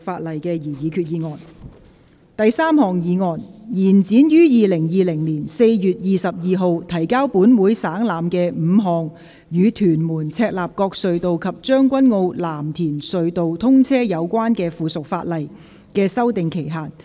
第三項議案：延展於2020年4月22日提交本會省覽的5項與屯門—赤鱲角隧道及將軍澳—藍田隧道通車有關的附屬法例的修訂期限。